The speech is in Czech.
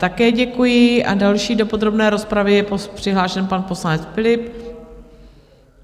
Také děkuji a další do podrobné rozpravy je přihlášen pan poslanec Philipp.